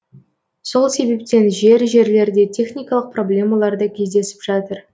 сол себептен жер жерлерде техникалық проблемалар да кездесіп жатыр